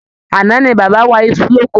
Àná ní bàbá wa isu l'oko.